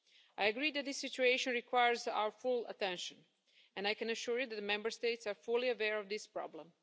I agree that this situation requires our full attention, and I can assure you that the Member States are fully aware of this problem.